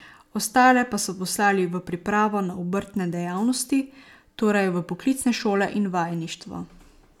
Ostale pa so poslali v pripravo za obrtne dejavnosti, torej v poklicne šole in vajeništvo.